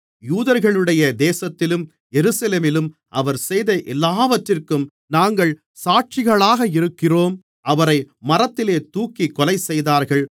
யூதர்களுடைய தேசத்திலும் எருசலேமிலும் அவர் செய்த எல்லாவற்றிற்கும் நாங்கள் சாட்சிகளாக இருக்கிறோம் அவரை மரத்திலே தூக்கிக் கொலைசெய்தார்கள்